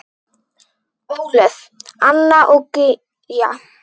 Ólöf, Anna og Gígja.